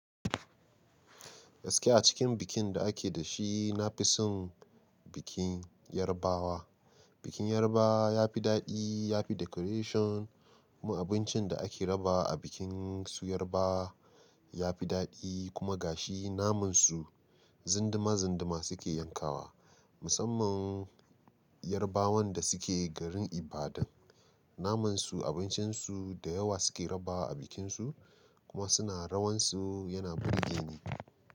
Gaskiya a cikin bikin da ake da shi, na fi son bikin Yarabawa. Bikin Yarbawa ya fi daɗi, ya fi decoration. Abincin da ake raba a bikin su Yarabawa ya fi daɗi kuma gashi namansu zindima zindima suke yankawa. Musamman Yarbawan da suke garin Ibadan, namansu abincinsu da yawa suke raba a bikinsu kuma suna rawan su yana burge ni.